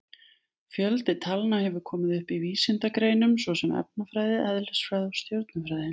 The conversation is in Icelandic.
Fjöldi talna hefur komið upp í vísindagreinum svo sem efnafræði, eðlisfræði og stjörnufræði.